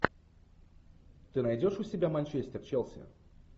ты найдешь у себя манчестер челси